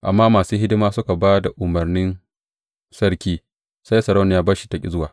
Amma da masu hidima suka ba da umarnin sarki, sai Sarauniya Bashti ta ƙi zuwa.